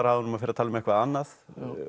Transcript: af honum og fer að tala um eitthvað annað